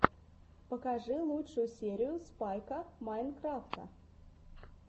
покажи лучшую серию спайка майнкрафта